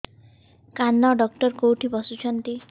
କାନ ଡକ୍ଟର କୋଉଠି ବସୁଛନ୍ତି